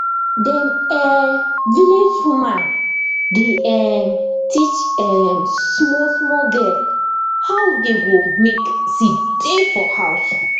dem um village woman dey um teach um small small girl how dey go make seed tey for house